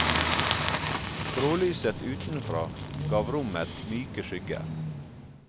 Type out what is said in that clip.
Grålyset utenfra gav rommet myke skygger.